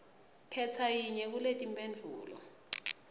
khetsa yinye kuletimphendvulo